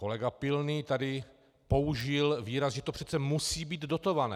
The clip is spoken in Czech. Kolega Pilný tady použil výraz, že to přece musí být dotované.